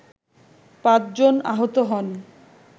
পাঁচজন আহত হন